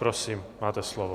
Prosím, máte slovo.